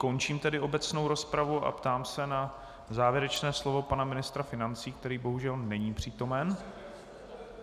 Končím tedy obecnou rozpravu a ptám se na závěrečná slova pana ministra financí, který bohužel není přítomen.